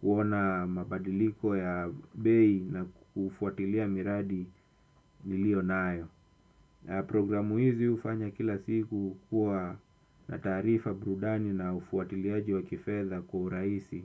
kuona mabadiliko ya bei na kufuatilia miradi niliyo nayo. Programu hizi hufanya kila siku kuwa na taarifa burudani na ufuatiliaji wa kifedha kwa urahisi.